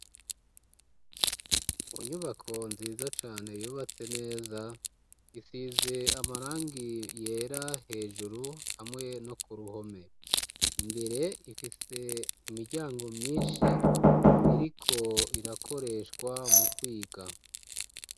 mu nyubako nziza cane yubatse neza isize amarangi yera hejuru hamwe no ku ruhome imbere, ifise imiryango myinshi iriko irakoreshwa mu kwiga.